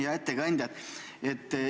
Hea ettekandja!